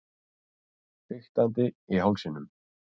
Fiktandi í hálsinum.